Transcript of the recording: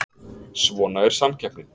Svona er samkeppnin